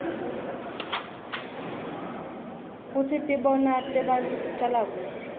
kutsi tibonao tebantfu ticala kuphi